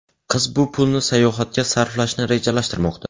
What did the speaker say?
Qiz bu pulni sayohatga sarflashni rejalashtirmoqda.